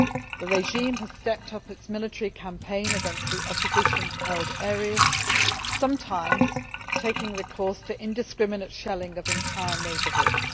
The regime has stepped up its military campaign against the opposition held areas, sometimes taking recourse to indiscriminate shelling of entire neighbourhoods.